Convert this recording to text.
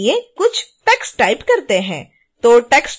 फिर आइए कुछ टेक्स्ट टाइप करते हैं